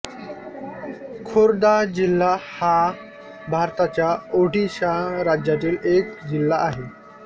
खोर्दा जिल्हा हा भारताच्या ओडिशा राज्यातील एक जिल्हा आहे